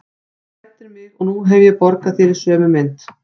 Þú hræddir mig og nú hef ég borgað þér í sömu mynt.